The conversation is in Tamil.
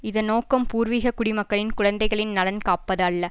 இதன் நோக்கம் பூர்விகக் குடிமக்களின் குழந்தைகளின் நலன் காப்பது அல்ல